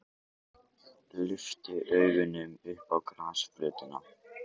Lyfti augunum upp á grasflötina.